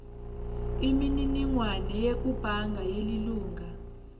imininingwane yekubhanga yelilunga